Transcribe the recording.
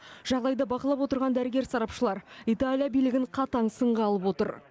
жағдайды бақылап отырған дәрігер сарапшылар италия билігін қатаң сынға алып отыр